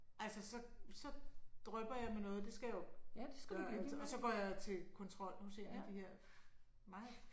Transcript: Altså så så drypper jeg med noget det skal jeg jo gøre altid og så går jeg til kontrol nu og ser de her meget